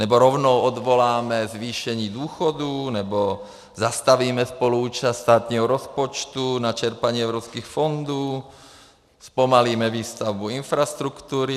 Nebo rovnou odvoláme zvýšení důchodů, nebo zastavíme spoluúčast státního rozpočtu na čerpání evropských fondů, zpomalíme výstavbu infrastruktury?